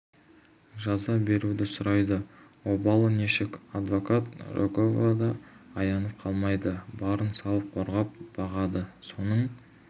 жаза беруді сұрайды обалы нешік адвокат рогова да аянып қалмайды барын салып қорғап бағады соның